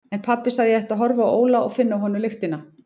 En pabbi sagði að ég ætti að horfa á Óla og finna af honum lyktina.